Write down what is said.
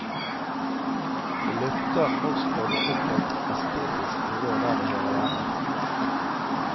Det løfter norskfaget opp på et estetisk nivå der det hører hjemme.